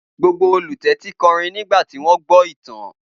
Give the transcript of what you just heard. Gbogbo olùtẹ́tí kọrin nígbà tí wọ́n gbọ́ ìtàn.